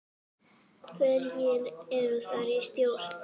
Hverjir eru þar í stjórn?